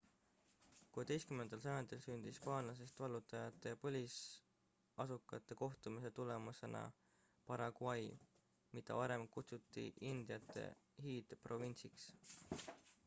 16 sajandil sündis hispaanlastest vallutajate ja põlisasukate kohtumise tulemusena paraguay mida varem kutsuti indiate hiidprovintsiks